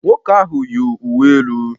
Nwoke ahụ yi uwe elu